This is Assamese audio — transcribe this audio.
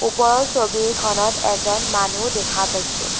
ওপৰৰ ছবিখনত এজন মানুহ দেখা পাইছোঁ।